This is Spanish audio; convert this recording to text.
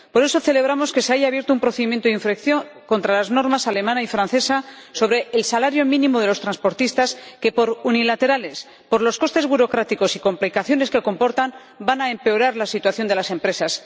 Por eso celebramos que se haya abierto un procedimiento de infracción contra las normas alemana y francesa sobre el salario mínimo de los transportistas que, por unilaterales, por los costes burocráticos y complicaciones que comportan, van a empeorar la situación de las empresas.